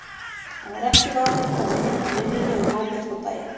Hann var ekki vanur að koma heim úr vinnunni um hábjartan daginn.